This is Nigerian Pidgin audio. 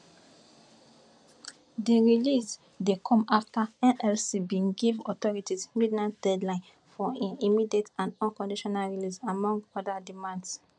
di release dey come afta nlc bin give authorities midnight deadline for im immediate and unconditional release among oda demands